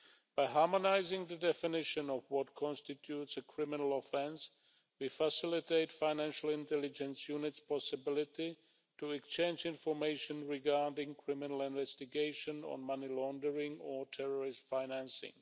By harmonising the definition of what constitutes a criminal offence, we facilitate the possibility for financial intelligence units to exchange information regarding criminal investigation of money laundering or terrorist financing.